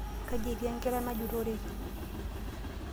Kaji etii enkila najutoreki?